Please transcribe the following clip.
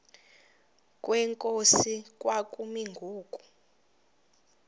kwenkosi kwakumi ngoku